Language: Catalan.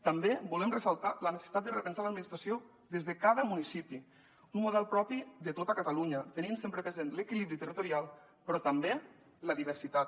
també volem ressaltar la necessitat de repensar l’administració des de cada municipi un model propi de tot catalunya tenint sempre present l’equilibri territorial però també la diversitat